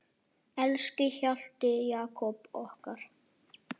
Elsku Hjalti Jakob okkar.